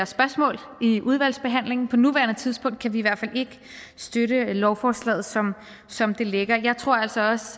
spørgsmål i udvalgsbehandlingen på nuværende tidspunkt kan vi i hvert fald ikke støtte lovforslaget som som det ligger jeg tror altså også